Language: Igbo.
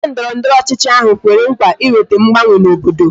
Onye ndọrọndọrọ ọchịchị ahụ kwere nkwa ịweta mgbanwe na obodo